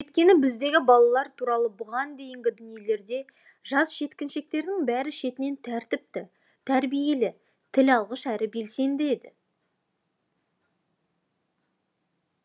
өйткені біздегі балалар туралы бұған дейінгі дүниелерде жас жеткіншектердің бәрі шетінен тәртіпті тәрбиелі тіл алғыш әрі белсенді еді